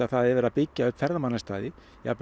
það er verið að byggja upp ferðamannastaði